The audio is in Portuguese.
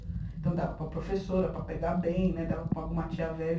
Então, dava para a professora, para pegar bem né, dava para alguma tia velha.